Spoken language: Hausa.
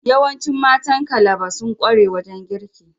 Yawancin matan Calabar sun kware wajen girki.